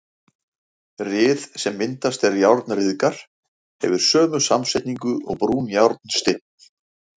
Ryð, sem myndast er járn ryðgar, hefur sömu samsetningu og brúnjárnsteinn.